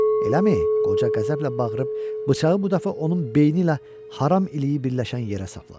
Eləmi, - qoca qəzəblə bağırıb, bıçağı bu dəfə onun beyni ilə haram iliyi birləşən yerə sapladı.